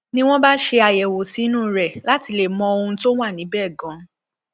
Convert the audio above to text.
ni wọn bá ṣe àyẹwò sí inú rẹ láti lè mọ ohun tó wà níbẹ ganan